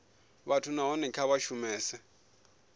vhathu nahone kha vha shumese